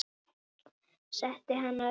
Setti hana upp.